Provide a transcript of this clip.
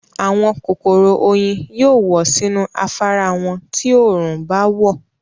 àwọn kòkòrò oyin yóò wọ̀ sínú afárá wọn ti òòrùn báwọ̀.